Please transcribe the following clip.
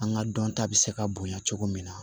An ka dɔn ta bɛ se ka bonya cogo min na